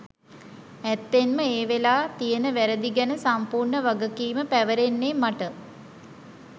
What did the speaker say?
ඇත්තෙන්ම ඒ වෙලා තියෙන වැ‍රැදි ගැන සම්පූර්ණ වගකීම පැවරෙන්නේ මට.